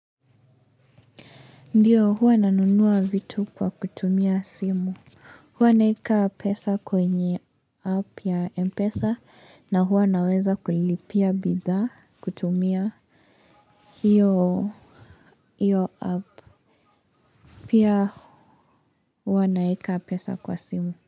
Ndiyo, huwa ninanunua vitu kwa kutumia simu. Huwa naweka pesa kwenye app ya mpesa na huwa naweza kulipia bidhaa kutumia. Hiyo app pia huwa naweka pesa kwa simu.